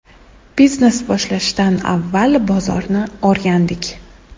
Biznes boshlashdan avval bozorni o‘rgandik.